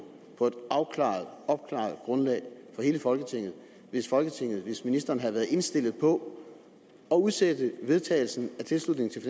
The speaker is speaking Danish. på et afklaret opklaret grundlag for hele folketinget hvis folketinget hvis ministeren havde været indstillet på at udsætte vedtagelsen af tilslutningen til